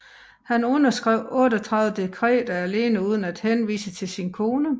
Han underskrev 38 dekretter alene uden at henvise til sin kone